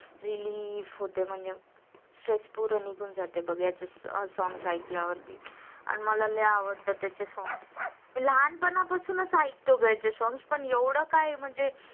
पूर्ण निघून जाते बघ याचे songs ऐकल्या वरती मला लई आवडतात त्याचे songs लहान पणा पाससुनच ऐकतो ग याचे songs पण एवहड काही म्हणजे